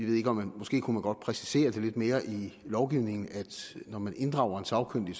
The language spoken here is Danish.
måske kunne man godt præcisere det lidt mere i lovgivningen altså at når man inddrager en sagkyndig